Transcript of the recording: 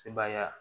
Sebaya